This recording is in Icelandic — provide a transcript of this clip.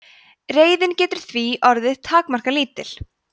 reiðin getur því orðið takmarkalítil